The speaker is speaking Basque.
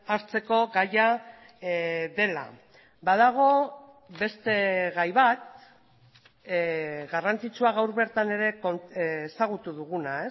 hartzeko gaia dela badago beste gai bat garrantzitsua gaur bertan ere ezagutu duguna